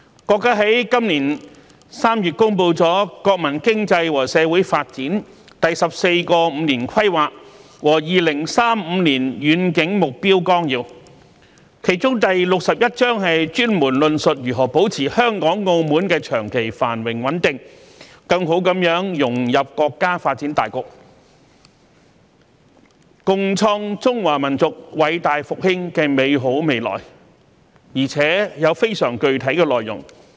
國家在今年3月公布《中華人民共和國國民經濟和社會發展第十四個五年規劃和2035年遠景目標綱要》，其中第六十一章專門論述如何保持香港、澳門長期繁榮穩定，更好融入國家發展大局，共創中華民族偉大復興的美好未來，而且內容非常具體。